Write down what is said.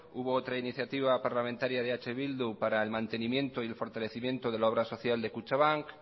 hubo otro iniciativa parlamentaria de eh bildu para el mantenimiento y el fortalecimiento de la obra social de kutxabank